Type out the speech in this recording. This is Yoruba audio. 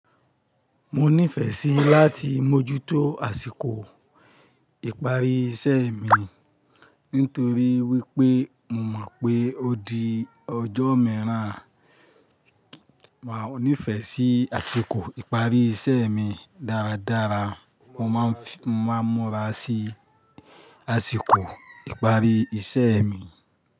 Mo nífẹ̀ẹ́ síi láti mójútó àsìkò ìparí iṣẹ́ mi nítorí wípé mo mọ̀ pé ó di ọjọ́ miiran. Mo nífẹ̀ẹ́ sí àsìkò ìparí iṣẹ́ mi dáradára. Mo máa ń múra sí àsìkò ìparí iṣẹ́ mi.